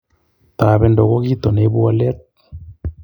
Tobendo ko kito neibu walet